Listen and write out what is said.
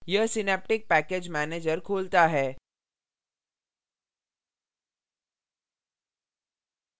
यह synaptic package manager खोलता है